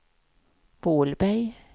Vålberg